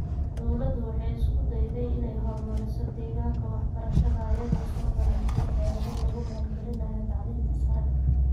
Dawladdu waxay isku dayday inay horumariso deegaanka waxbarashada iyadoo soo bandhigtay xeelado lagu maalgalinayo tacliinta sare.